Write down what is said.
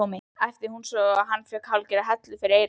æpti hún svo hann fékk hálfgerða hellu fyrir eyrun.